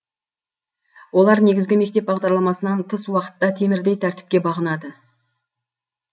олар негізгі мектеп бағдарламасынан тыс уақытта темірдей тәртіпке бағынады